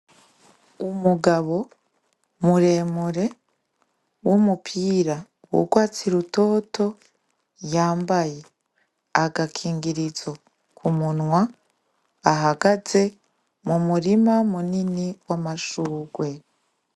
Umugabo muremure w'umupira w'urwatsi rutoto yambaye agakingirizo ku munwa ahagaze mu murima munini w'amashurwe.